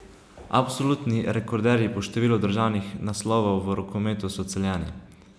Absolutni rekorderji po številu državnih naslovov v rokometu so Celjani.